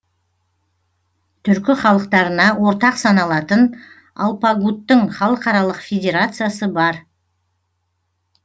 түркі халықтарына ортақ саналатын алпагуттың халықаралық федерациясы бар